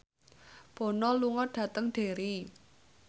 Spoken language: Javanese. Bono lunga dhateng Derry